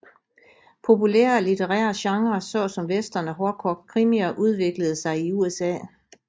Populære litterære genre såsom Western og hårdkogt krimier udviklede sig i USA